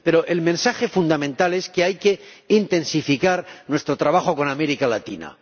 Pero el mensaje fundamental es que hay que intensificar nuestro trabajo con América Latina